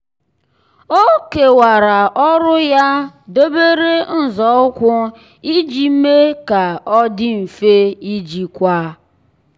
ọ́ kèwàrà ọ́rụ́ ya n’óbèré nzọụkwụ iji mee kà ọ́ dị́ mfe íjíkwá.